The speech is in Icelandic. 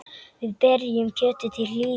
Við berjum kjötið til hlýðni.